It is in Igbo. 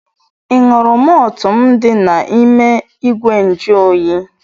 Ị ṅụrụ mọltụ m dị n'ime igwe njuoyi?